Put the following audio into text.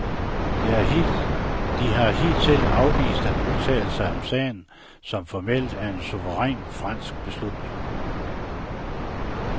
De har hidtil afvist at udtale sig om sagen, som formelt er en suveræn fransk beslutning.